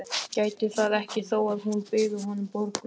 Gæti það ekki þó að hún byði honum borgun.